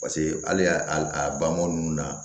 Paseke hali a ba mɔmu ninnu na